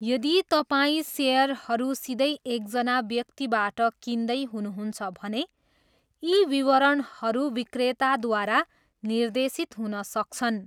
यदि तपाईँ सेयरहरू सिधै एकजना व्यक्तिबाट किन्दै हुनुहुन्छ भने यी विवरणहरू विक्रेताद्वारा निर्देशित हुन सक्छन्।